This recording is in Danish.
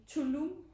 Tulum